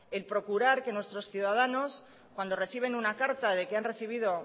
el procurar que nuestros ciudadanos cuando reciben una carta de que han recibido